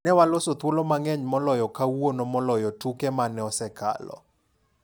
Newaloso thuolo mang'eny moloyo kawuono moloyo tuke mane osekalo.